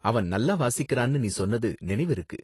அவன் நல்ல வாசிக்கறான்னு நீ சொன்னது நினைவிருக்கு.